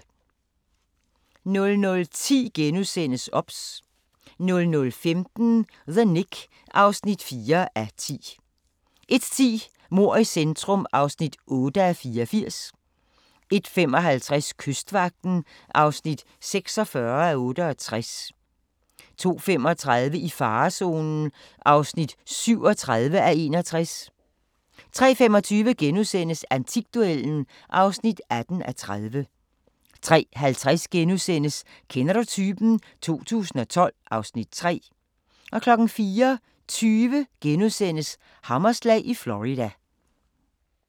00:10: OBS * 00:15: The Knick (4:10) 01:10: Mord i centrum (8:84) 01:55: Kystvagten (46:68) 02:35: I farezonen (37:61) 03:25: Antikduellen (18:30)* 03:50: Kender du typen? 2012 (Afs. 3)* 04:20: Hammerslag i Florida *